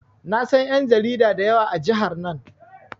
Na san ƴan jarida da yawa a jihar nan.